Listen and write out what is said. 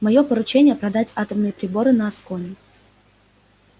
моё поручение продать атомные приборы на аскони